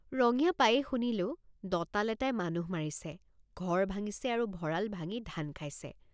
ৰঙিয়া পায়েই শুনিলোঁ দঁতাল এটাই মানুহ মাৰিছে ঘৰ ভাঙিছে আৰু ভঁৰাল ভাঙি ধান খাইছে।